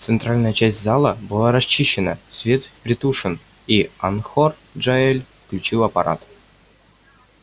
центральная часть зала была расчищена свет притушен и анхор джаэль включил аппарат